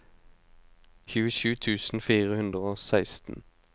tjuesju tusen fire hundre og seksten